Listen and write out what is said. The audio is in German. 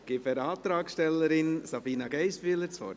Ich erteile der Antragstellerin, Sabina Geissbühler, das Wort.